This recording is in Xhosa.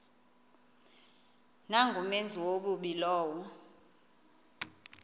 nangumenzi wobubi lowo